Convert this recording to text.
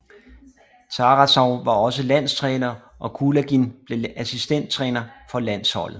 Tarasov var også landstræner og Kulagin blev assistenttræner for landsholdet